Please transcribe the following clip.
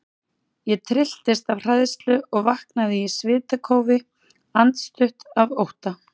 Ég trylltist af hræðslu og vaknaði í svitakófi, andstutt af ótta.